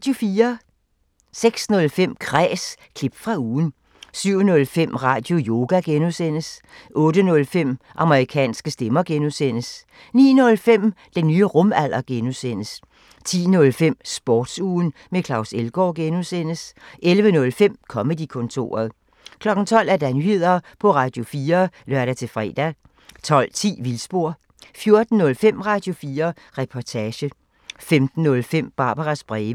06:05: Kræs – klip fra ugen 07:05: Radioyoga (G) 08:05: Amerikanske stemmer (G) 09:05: Den nye rumalder (G) 10:05: Sportsugen med Claus Elgaard (G) 11:05: Comedy-kontoret 12:00: Nyheder på Radio4 (lør-fre) 12:10: Vildspor 14:05: Radio4 Reportage 15:05: Barbaras breve